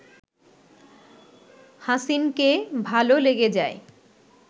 হাসিনকে ভালো লেগে যায়